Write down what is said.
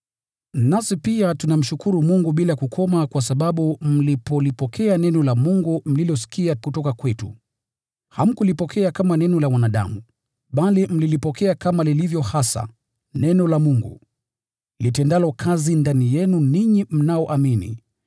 Nasi pia tunamshukuru Mungu bila kukoma kwa sababu mlipolipokea neno la Mungu mlilosikia kutoka kwetu, hamkulipokea kama neno la wanadamu, bali mlilipokea kama lilivyo hasa, neno la Mungu, litendalo kazi ndani yenu ninyi mnaoamini.